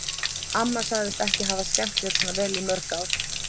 Amma sagðist ekki hafa skemmt sér svona vel í mörg ár.